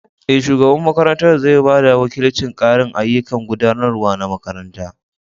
Eh, shugaban makarantar zai ba da wakilcin ƙarin ayyukan gudanarwa na makaranta.